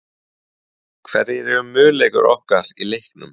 Hverjir eru möguleikar okkar í leiknum?